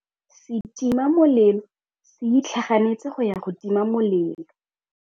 Setima molelô se itlhaganêtse go ya go tima molelô.